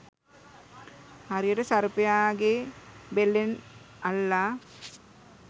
හරියට සර්පයාගේ බෙල්ලෙන් අල්ලා